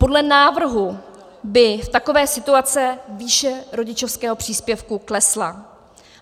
Podle návrhu by v takové situaci výše rodičovského příspěvku klesla.